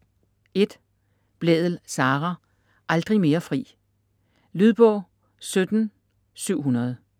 Blædel, Sara: Aldrig mere fri Lydbog 17700